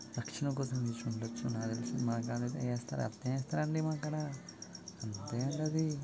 రక్షణ కోసం ఏసి ఉండవచ్చు నాకు తెలిసి మన కాడనైతే ఎస్తారు నైతే ఎస్తారు అంతే అండి అది.